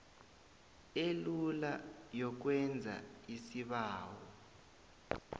elula yokwenza isibawo